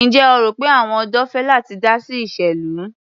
Ǹjẹ́ o rò pé àwọn ọ̀dọ́ fẹ́ láti dá sí ìṣèlú?